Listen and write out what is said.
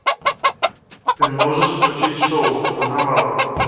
ты можешь включить шоу карнавал